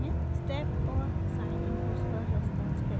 * step और sine inputs पर response कैसे प्लॉट करते हैं